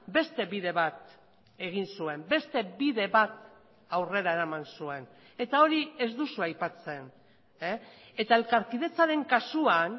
beste bide bat egin zuen beste bide bat aurrera eraman zuen eta hori ez duzu aipatzen eta elkarkidetzaren kasuan